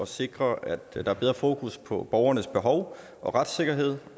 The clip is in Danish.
sikre at der er et bedre fokus på borgernes behov og retssikkerhed